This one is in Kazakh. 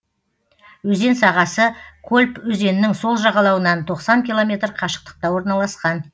өзен сағасы колпь өзенінің сол жағалауынан тоқсан километр қашықтықта орналасқан